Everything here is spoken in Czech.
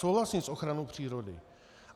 Souhlasím s ochranou přírody.